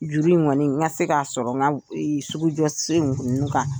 Juru in kɔniɔni n ka se k'a sɔrɔ n ka sugu jɔ sen ninnu kan